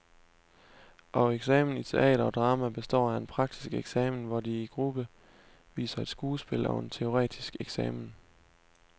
Og eksamen i teater og drama består af en praktisk eksamen, hvor de i gruppe viser et skuespil, og en teoretisk eksamen.